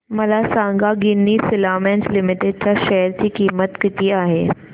मला सांगा Ginni filaments limited च्या शेअर ची किंमत किती आहे